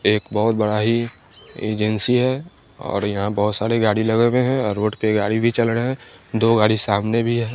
एक बहुत बड़ा ही एजेंसी है और यहाँ बोहोत साड़े गाड़ी लगे हुए हैं और रोड पे गाड़ी भी चल ड़हे हैं दो गाड़ी सामने भी है।